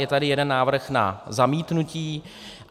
Je tady jeden návrh na zamítnutí.